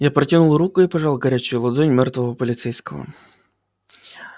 я протянул руку и пожал горячую ладонь мёртвого полицейского